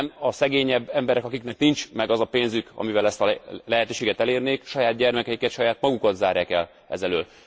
A szegényebb emberek, akiknek nincs meg a pénzük, amivel ezt a lehetőséget elérnék, saját gyermekeiket, saját magukat zárják el ez elől a lehetőség elől.